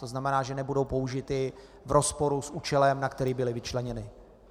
To znamená, že nebudou použity v rozporu s účelem, na který byly vyčleněny.